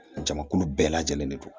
Jamakulu bɛɛ lajɛlen de don